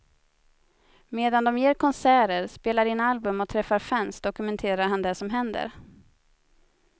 Medan de ger konserter, spelar in album och träffar fans dokumenterar han det som händer.